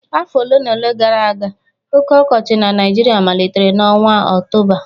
afọ ole na ole gara aga oge ọkọchị na Naịjirịa malitere n'ọnwa Ọktoba